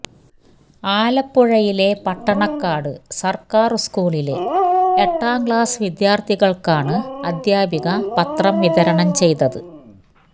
ആലപ്പുഴയിലെ പട്ടണക്കാട് സര്ക്കാര് സ്കൂളിലെ എട്ടാം ക്ലാസ് വിദ്യാര്ത്ഥികള്ക്കാണ് അധ്യാപിക പത്രം വിതരണം ചെയ്തത്